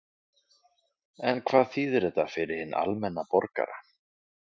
En hvað þýðir þetta fyrir hinn almenna borgara?